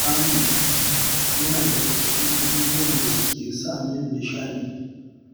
Kamun kifi yana daga cikin abubuwan da suke sa min nishaɗi